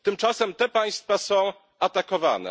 Tymczasem te państwa są atakowane.